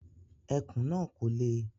Ẹkùn náà kò le